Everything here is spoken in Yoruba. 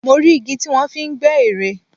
Mo rí igi tí wọ́n fi ń gbẹ́ ère